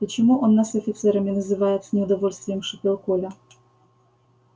почему он нас офицерами называет с неудовольствием шипел коля